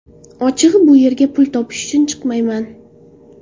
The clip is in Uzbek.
Ochig‘i, bu yerga pul topish uchun chiqmayman.